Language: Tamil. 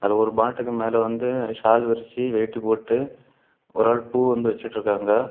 ஒரு மாட்டுக்கு மேல வந்து ஷால் விரிச்சு வேட்டி போட்டு ஒரு ஆள் பூ வந்து வச்சுட்டுருக்காங்க.